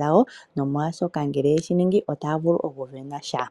dhawo nomolwaashoka ngele yeshi ningi otaya vulu oku isindanena sha.